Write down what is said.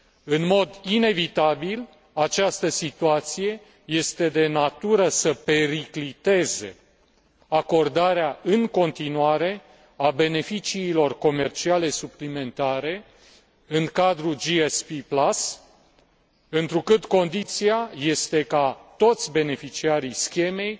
În mod inevitabil, această situație este de natură să pericliteze acordarea în continuare a beneficiilor comerciale suplimentare în cadrul GSP Plus, întrucât condiția este ca toți beneficiarii schemei